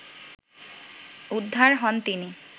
উদ্ধার হন তিনি